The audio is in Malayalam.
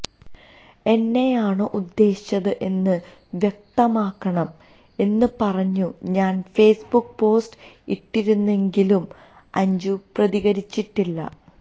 എന്നെയാണോ ഉദ്ദേശിച്ചത് എന്ന് വ്യക്തമാക്കണം എന്ന് പറഞ്ഞു ഞാൻ ഫേസ്ബുക്ക് പോസ്റ്റ് ഇട്ടിരുന്നെങ്കിലും അഞ്ജു പ്രതികരിച്ചിട്ടില്ല